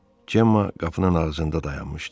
Cemma qapının ağzında dayanmışdı.